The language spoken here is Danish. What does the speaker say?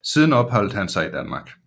Siden opholdte han sig i Danmark